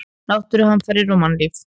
Náttúruhamfarir og mannlíf.